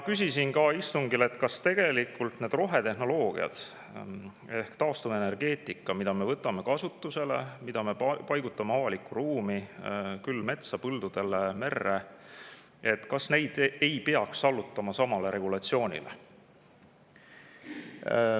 Küsisin istungil, kas neid rohetehnoloogia ehk taastuvenergeetika, mida me võtame kasutusele ja mida me paigutame avalikku ruumi – küll metsa, põldudele, merre –, ei peaks allutama samale regulatsioonile.